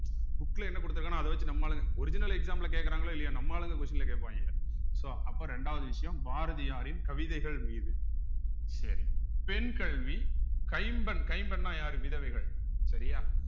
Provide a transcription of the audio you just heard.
book ல என்ன கொடுத்திருக்கான்னா அத வச்சு நம்ம ஆளுங்க original exam ல கேட்கிறாங்களோ இல்லையோ நம்ம ஆளுங்க question ல கேட்பாங்க so அப்ப இரண்டாவது விஷயம் பாரதியாரின் கவிதைகள் மீது சரி பெண் கல்வி கைம்பெண் கைம்பெண்ணா யாரு விதவைகள் சரியா